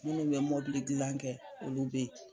Minnu bɛ mobili dilan kɛ olu be ye